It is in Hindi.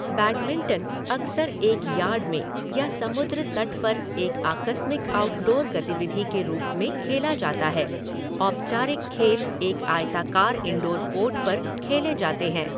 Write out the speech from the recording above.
बैडमिंटन अक्सर एक यार्ड में या समुद्र तट पर एक आकस्मिक आउटडोर गतिविधि के रूप में खेला जाता है, औपचारिक खेल एक आयताकार इनडोर कोर्ट पर खेले जाते हैं।